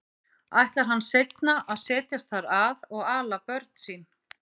Ætlar hann seinna að setjast þar að og ala börn sín?